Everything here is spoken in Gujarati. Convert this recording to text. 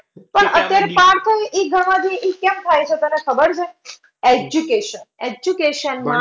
પણ અત્યારે પાર્થ એ કેમ થાય છે તને ખબર છે Education education માં